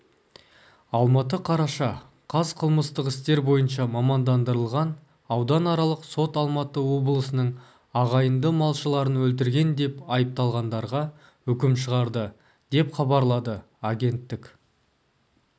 алматы қараша қаз қылмыстық істер бойынша мамандандырылған ауданаралық сот алматы облысының ағайынды малшыларын өлтірген деп айыпталғандарға үкім шығарды деп хабарлады агенттік